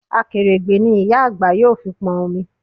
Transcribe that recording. Akèrègbè ni ìyá àgbà yóò fi pọn omi